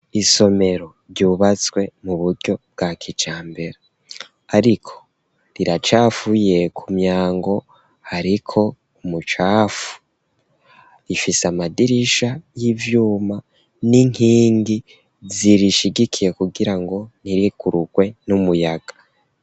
Isomero ryubatswe muburyo bwa kijambere ariko riracafuye , kumyango hariko umucafu, rifis'amadirisha y'ivyuma n'inkingi zirishigikiye kugirango ntirigurugwe n'umuyaga.